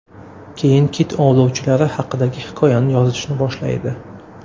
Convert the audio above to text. Keyin kit ovlovchilari haqidagi hikoyani yozishni boshlaydi.